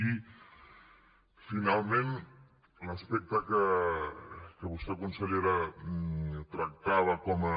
i finalment l’aspecte que vostè consellera tractava com a